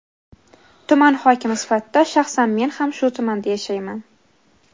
Tuman hokimi sifatida shaxsan men ham shu tumanda yashayman.